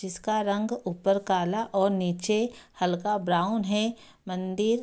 जिसका रंग ऊपर काला और नीचे हल्का ब्राउन है मंदिर --